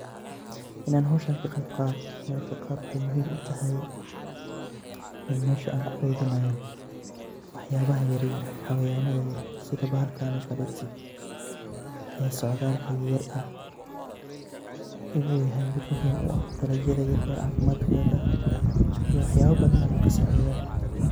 Inan howshan kaqeb qaato mararka qaar waxay muhiim utahay in mesha an kukeydinayo waxabaha yaryar xawayanaha yaryar sida bahalkaneto kale ee socdalka yar ah inu yahay mid muhiim u ah dalagyada yaryar caafimaadkoda iyo wax yaba badan ayu kasaacideya